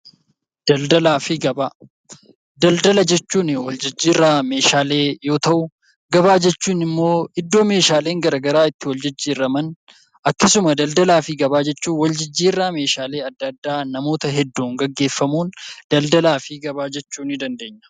Daldala jechuun jijjiirraa meeshaaleeti. Daldala jechuun immoo iddoo meeshaaleen garaagaraa itti gurguraman akkasuma daldalaa fi gabaa jechuun wal jijjiirraa meeshaalee adda addaa namoota hedduun gaggeeffamuun daldalaa fi gabaa jechuunii dandeenya.